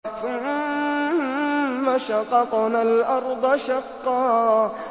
ثُمَّ شَقَقْنَا الْأَرْضَ شَقًّا